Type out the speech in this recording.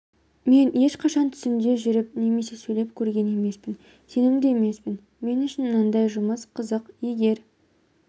мен ешқашан түсімде жүріп немесе сөйлеп көрген емеспін сенімді емеспін мен үшін мынадай жұмыс қызық егер